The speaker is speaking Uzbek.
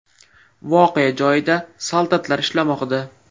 Voqea joyida soldatlar ishlamoqda.